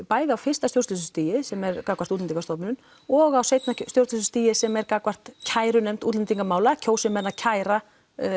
bæði á fyrsta stjórnsýslustigi sem er gagnvart Útlendingastofnun og á seinna stjórnsýslustigi sem er gagnvart kærunefnd útlendingamála kjósi menn að kæra